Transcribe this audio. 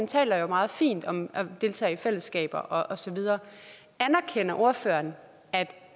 taler meget fint om at deltage i fællesskaber og så videre anerkender ordføreren at